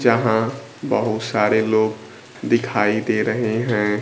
जहां बहुत सारे लोग दिखाई दे रहे हैं।